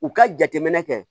U ka jateminɛ kɛ